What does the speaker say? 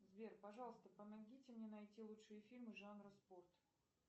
сбер пожалуйста помогите мне найти лучшие фильмы жанра спорт